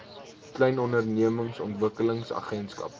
klein ondernemings ontwikkelingsagentskap